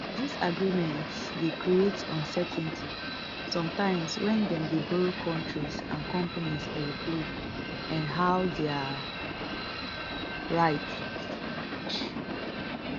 dis agreement dey creates uncertainty sometimes wen dem dey borrow kontris and companies aeroplane and how dia rights strong reach